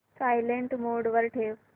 silent mode वर ठेव